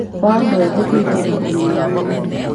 wa andũ ethĩ kũingĩra ũgimaru-inĩ.